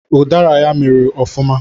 Ụdara ya mịrị ọfụma